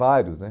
Vários, né?